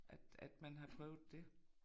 At at man har prøvet det